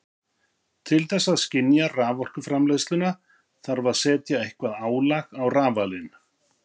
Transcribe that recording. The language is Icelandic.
Til þess að skynja raforkuframleiðsluna þarf að setja eitthvert álag á rafalinn.